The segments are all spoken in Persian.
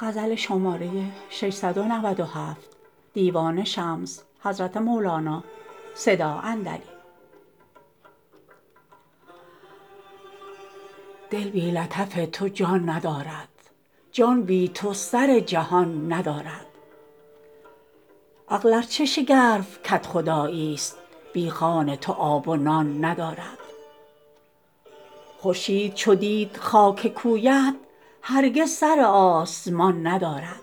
دل بی لطف تو جان ندارد جان بی تو سر جهان ندارد عقل ار چه شگرف کدخداییست بی خوان تو آب و نان ندارد خورشید چو دید خاک کویت هرگز سر آسمان ندارد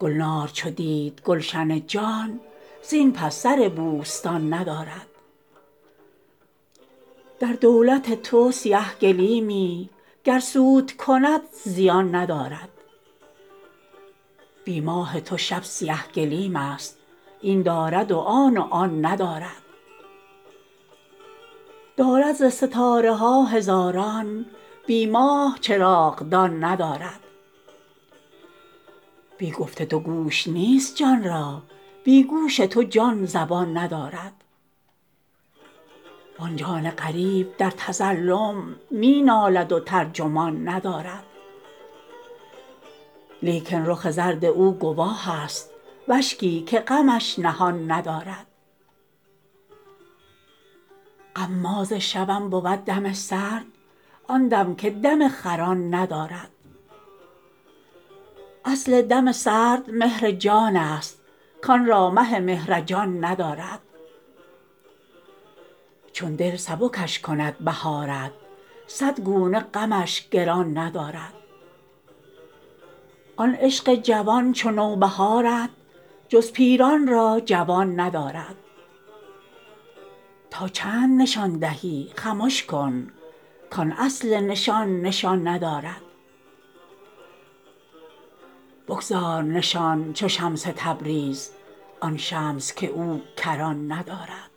گلنار چو دید گلشن جان زین پس سر بوستان ندارد در دولت تو سیه گلیمی گر سود کند زیان ندارد بی ماه تو شب سیه گلیمست این دارد و آن و آن ندارد دارد ز ستاره ها هزاران بی ماه چراغدان ندارد بی گفت تو گوش نیست جان را بی گوش تو جان زبان ندارد وان جان غریب در تظلم می نالد و ترجمان ندارد لیکن رخ زرد او گواهست و اشکی که غمش نهان ندارد غماز شوم بود دم سرد آن دم که دم خران ندارد اصل دم سرد مهر جانست کان را مه مهر جان ندارد چون دل سبکش کند بهارت صد گونه غمش گران ندارد آن عشق جوان چو نوبهارت جز پیران را جوان ندارد تا چند نشان دهی خمش کن کان اصل نشان نشان ندارد بگذار نشان چو شمس تبریز آن شمس که او کران ندارد